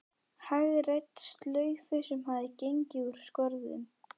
Hagræddi slaufu sem hafði gengið úr skorðum.